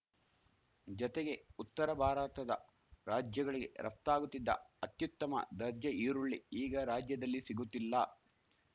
ಜತೆಗೆ ಉತ್ತರ ಭಾರತದ ರಾಜ್ಯಗಳಿಗೆ ರಫ್ತಾಗುತ್ತಿದ್ದ ಅತ್ಯುತ್ತಮ ದರ್ಜೆ ಈರುಳ್ಳಿ ಈಗ ರಾಜ್ಯದಲ್ಲಿ ಸಿಗುತ್ತಿಲ್ಲ